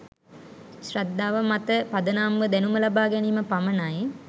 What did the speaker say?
ශ්‍රද්දාව මත පදනම්ව දැනුම ලබා ගැනීම පමණයි